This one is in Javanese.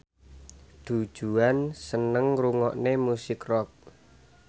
Du Juan seneng ngrungokne musik rock